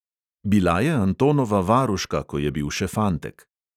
Bila je antonova varuška, ko je bil še fantek.